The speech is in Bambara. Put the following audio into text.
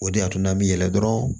O de y'a to n'an bɛ yɛlɛ dɔrɔn